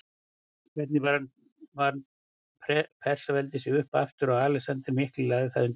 Hvernig vann Persaveldi sig upp aftur eftir að Alexander mikli lagði það undir sig?